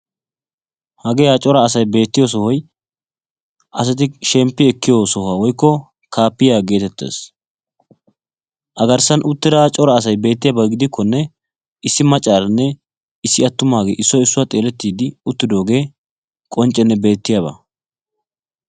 Hagee ha cora asay beettiyoo sohoy asati shemppi ekkiyoo sohuwaa woykko kaappiyaa getettees. a garssan uttida cora asay beettiyaaba gidikkone issi maccaranne issi attumaagee issoy issuwaa xeelettiidi uttidogee qonccenne beetiyaaba.